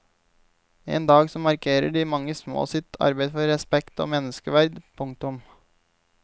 En dag som markerer de mange små sitt arbeid for respekt og menneskeverd. punktum